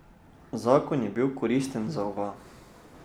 Zakon je bil koristen za oba.